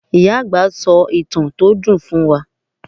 Ìyá àgbà sọ ìtàn tó dùn fún wa.